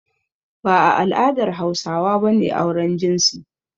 Ba a al'adar Hausawa ba ne auren jinsi.